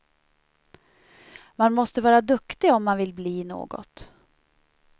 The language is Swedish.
Man måste vara duktig om man vill bli något.